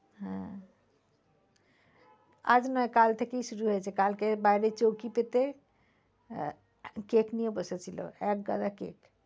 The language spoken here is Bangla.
হ্যাঁ আজ নয় কাল থেকেই শুরু হয়েছে কাল বাইরে চৌকি পেতে আহ cake নিয়ে বসেছিল একগাদা cake